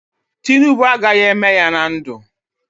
Tinubu agaghị eme ya na ndụ a.